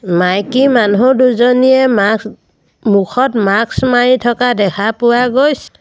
মাইকী মানুহ দুজনীয়ে মাস্ক মুখত মাস্ক মাৰি থকা দেখা পোৱা গৈছ--